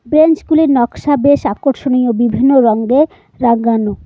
বেঞ্চগুলোর নকশা বেশ আকর্ষণীয় বিভিন্ন রঙ্গে রাঙ্গানো।